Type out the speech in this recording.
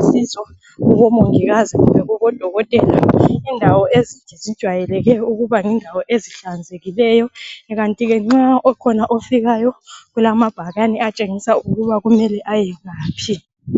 usizo kubomongikazi kumbe kubodokotela. Indawo ezinje zijwayeleke ukubazindawo ezihlanzekileyo, kanti ke nxa kukhona ofikayo kulama bhakani atshengisa ukuba kumele ayengaphi.